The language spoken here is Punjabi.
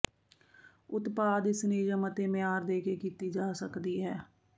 ਉਤਪਾਦ ਇਸ ਨਿਯਮ ਅਤੇ ਮਿਆਰ ਦੇ ਕੇ ਕੀਤੀ ਜਾ ਸਕਦੀ ਹੈ